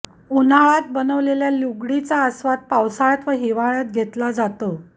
उन्हाळ्यात बनवलेल्या लुगडीचा अस्वाद पावसाळ्यात व हिवाळ्यात घेतला जातो